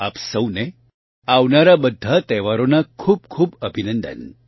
આપ સહુને આવનારા બધા તહેવારોના ખૂબ ખૂબ અભિનંદન